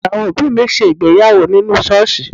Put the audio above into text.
Àwọn òbí mi ṣègbéyàwó nínú ṣọ́ọ̀ṣì.